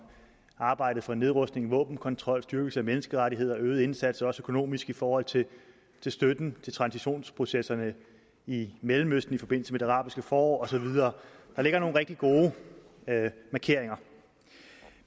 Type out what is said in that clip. arbejdet for nedrustning våbenkontrol styrkelse af menneskerettigheder øget indsats også økonomisk i forhold til støtten til transitionsprocesserne i mellemøsten i forbindelse med det arabiske forår og så videre der ligger nogle rigtig gode markeringer